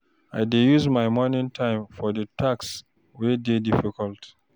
I dey use my morning time for di tasks wey dey difficult.